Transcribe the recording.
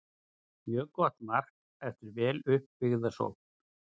Mjög gott mark eftir vel upp byggða sókn.